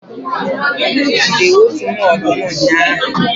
m jide otu nwa ọdụm ụnyahụ